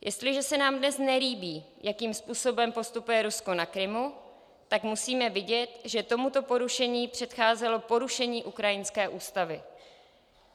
Jestliže se nám dnes nelíbí, jakým způsobem postupuje Rusko na Krymu, tak musíme vidět, že tomuto porušení předcházelo porušení ukrajinské ústavy.